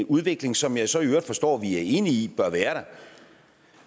udvikling som jeg så i øvrigt så forstår vi er enige i bør være